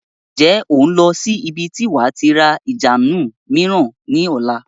Ǹjẹ́ o n lọ sí ibi tí wàá tí ra ìjánu mìíràn ni ọ̀la?